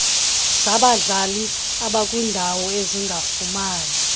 zabadlali abakwindawo ezingafumani